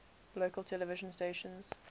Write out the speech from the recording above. local television stations